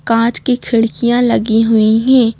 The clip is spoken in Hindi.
कांच की खिड़कियां लगी हुई है।